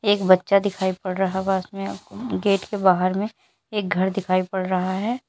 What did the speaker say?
एक बच्चा दिखाई पड़ रहा पास में आपको गेट के बाहर में एक घर दिखाई पड़ रहा है।